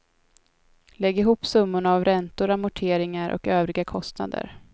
Lägg ihop summorna av räntor, amorteringar och övriga kostnader.